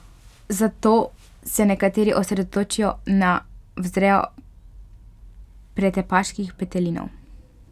Zato se nekateri osredotočijo na vzrejo pretepaških petelinov.